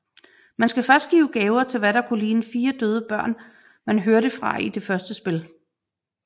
Man skal give gaver til hvad der kunne ligne de 4 døde børn man hørte fra i det første spil